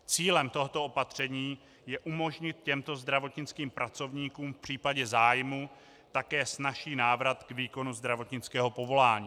Cílem tohoto opatření je umožnit těmto zdravotnickým pracovníkům v případě zájmu také snazší návrat k výkonu zdravotnického povolání.